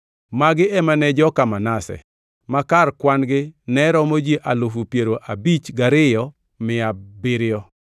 Magi ema ne joka Manase; ma kar kwan-gi ne romo ji alufu piero abich gariyo mia abiriyo (52,700).